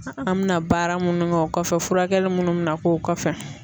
An mina baara munnu kɛ o kɔfɛ furakɛli munnu mɛna k'o kɔfɛ.